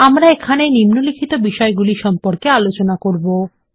এবং এখানে নিম্নলিখিত বিষয়গুলি সম্পর্কে আলোচনা করবো160 4